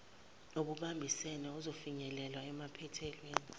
obubambisene usufinyelele emaphethelweni